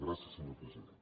gràcies senyor president